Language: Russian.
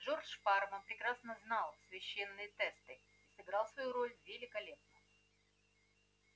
джордж парма прекрасно знал священные тесты сыграл свою роль великолепно